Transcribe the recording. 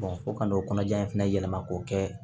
fo ka n'o kɔnɔja in fana yɛlɛma k'o kɛ